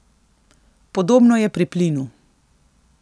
Podobno je pri plinu.